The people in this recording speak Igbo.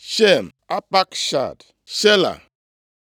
Shem, Apakshad, Shela,